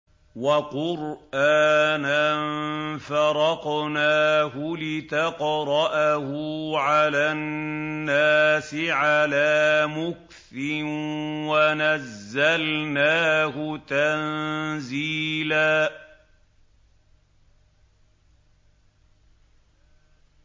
وَقُرْآنًا فَرَقْنَاهُ لِتَقْرَأَهُ عَلَى النَّاسِ عَلَىٰ مُكْثٍ وَنَزَّلْنَاهُ تَنزِيلًا